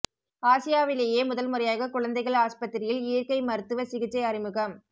ஆசியாவிலேயே முதல் முறையாக குழந்தைகள் ஆஸ்பத்திரியில் இயற்கை மருத்துவ சிகிச்சை அறிமுகம்